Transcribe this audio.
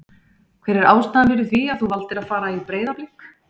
Hver er ástæðan fyrir því að þú valdir að fara í Breiðablik?